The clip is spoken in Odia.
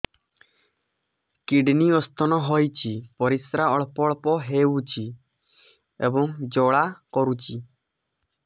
କିଡ଼ନୀ ସ୍ତୋନ ହୋଇଛି ପରିସ୍ରା ଅଳ୍ପ ଅଳ୍ପ ହେଉଛି ଏବଂ ଜ୍ୱାଳା କରୁଛି